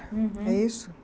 Uhum. É isso?